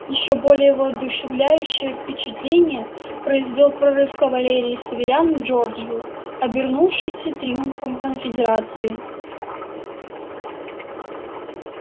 ещё более воодушевляющее впечатление произвёл прорыв кавалерии северян в джорджию обернувшийся триумфом конфедерации